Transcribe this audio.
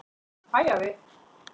Hæ, afi.